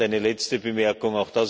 Und eine letzte Bemerkung.